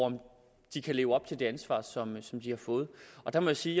om de kan leve op til det ansvar som som de har fået og der må jeg sige